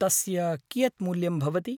तस्य कियत् मूल्यं भवति?